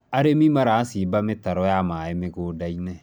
arĩmi maracimba mitaro ya maĩ mĩgũnda-inĩ